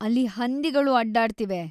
ಅಲ್ಲಿ ಹಂದಿಗಳು ಅಡ್ಡಾಡ್ತಿವೆ.